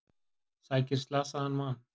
Sækir slasaðan mann